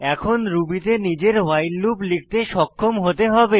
এখন রুবি তে নিজের ভাইল লুপ লিখতে সক্ষম হতে হবে